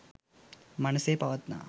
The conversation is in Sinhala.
මනසේ පවත්නා